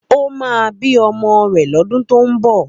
Ó máa bí ọmọ rẹ̀ lọ́dún tó ń bọ̀.